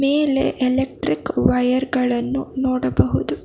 ಮೇಲೆ electric wire ಗಳನ್ನು ನೋಡಬಹುದು.